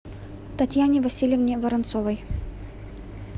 татьяне васильевне воронцовой